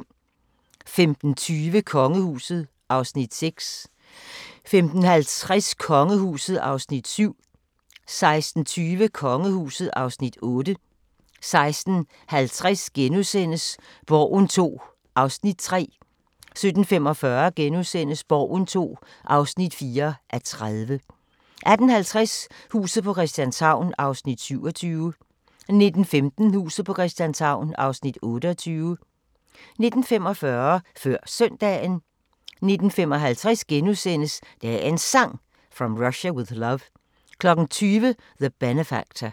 15:20: Kongehuset (Afs. 6) 15:50: Kongehuset (Afs. 7) 16:20: Kongehuset (Afs. 8) 16:50: Borgen II (3:30)* 17:45: Borgen II (4:30)* 18:50: Huset på Christianshavn (27:84) 19:15: Huset på Christianshavn (28:84) 19:45: Før Søndagen 19:55: Dagens Sang: From Russia With Love * 20:00: The Benefactor